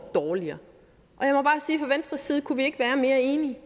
dårligere og side kunne vi ikke være mere enige vi